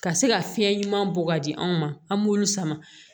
Ka se ka fiɲɛ ɲuman bɔ ka di anw ma an b'olu sama